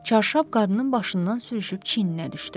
Çarşab qadının başından sürüşüb çininə düşdü.